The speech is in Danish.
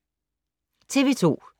TV 2